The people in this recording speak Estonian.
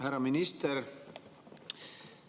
Härra minister!